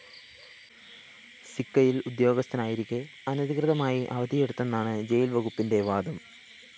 സിക്കയില്‍ ഉദേ്യാഗസ്ഥനായിരിക്കെ അനധികൃതമായി അവധിയെടുത്തെന്നാണ് ജയില്‍ വകുപ്പിന്റെ വാദം